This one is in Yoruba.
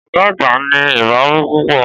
Ọ̀gá àgbà ní ìbáwí púpọ̀.